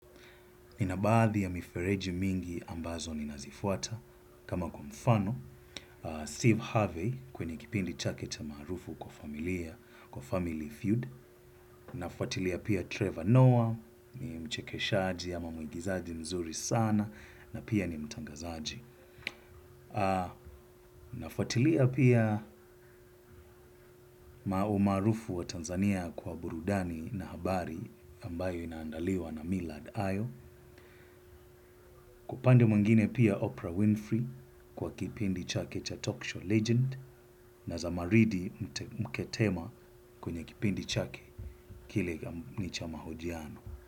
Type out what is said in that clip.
Ninabaadhi ya mifereji mingi ambazo ninazifuata. Kama kwa mfano, Steve Harvey kwenye kipindi chake cha maarufu kwa familia, kwa family feud. Nafuatilia pia Trevor Noah, ni mchekeshaji ama muigizaji mzuri sana na pia ni mtangazaji. Nafuatilia pia umaarufu wa Tanzania kwa burudani na habari ambayo inaandaliwa na Millard Ayo. Upande mwingine pia Oprah Winfrey kwa kipindi chake cha talk show legend na za maridi mketema kwenye kipindi chake kile nichamahojiano.